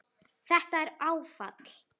Þetta er áfall.